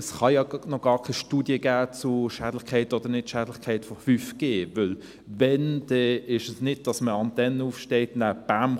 Es kann ja noch gar keine Studie zur Schädlichkeit oder Nicht-Schädlichkeit von 5G geben, denn es ist nicht so, dass man eine Antenne aufstellt, und dann – bäm!